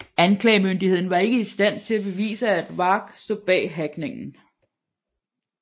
Anklagemyndigheden var ikke i stand til at bevise at Warg stod bag hackningen